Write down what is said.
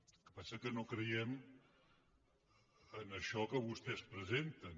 el que passa que no creiem en això que vostès presenten